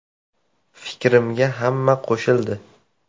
Fikrimga hamma qo‘shildi.